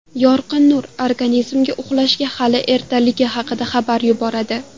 Yorqin nur organizmga uxlashga hali ertaligi haqida xabar yuboradi.